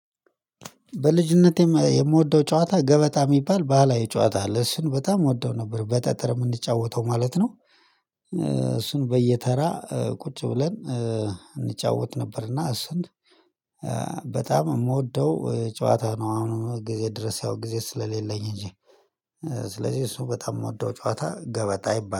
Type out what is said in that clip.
በልጅነቴ የምወደው ጨዋታ ገበጣ የሚባል ባህላዊ ጨዋታ እሱን በጣም እወደው ነበር በጠጠር የምንጫወተው ማለት ነው። እሱን በየተራ ቁጭ ብለን እንጫወት ነበርና እሱን በጣም የምወደው ጨዋታ ነው። አሁን ጊዜ ድረስ ያው ጊዜ ስለሌለኝ እንጂ ስለዚህ እሱ በጣም የምወደው ጨዋታ ገበጣ ይባላል